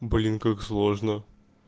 блин как сложно